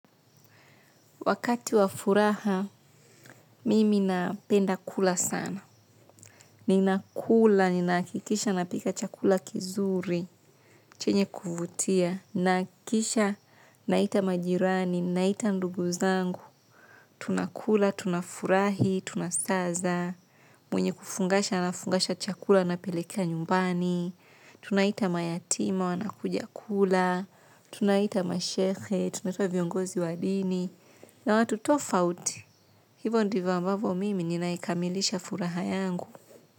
Wakati wa furaha mimi napenda kula sana. Ninakula, ninahakikisha napika chakula kizuri, chenye kuvutia, nahakikisha naita majirani, naita ndugu zangu. Tunakula, tunafurahi, tunasaza, mwenye kufungasha anafungasha chakula anapeleka nyumbani. Tunaita mayatima, wanakuja kula. Tunaita mashehe, tunaita viongozi wa dini. Na watu tofauti. Hivyo ndivyo ambavyo mimi ninaikamilisha furaha yangu.